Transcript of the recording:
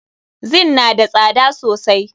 Zin na da tsada sosai.